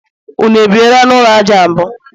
unu ebiela n'ụlọ aja mbụ?